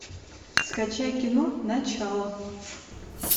скачай кино начало